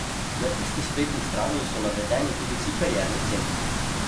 Na isti spletni strani so navedeni tudi vsi karierni centri.